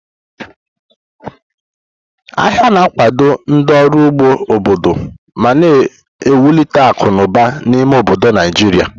Ahịa na-akwado ndị ọrụ ugbo obodo ma na-ewulite akụ na ụba n'ime obodo Naijiria.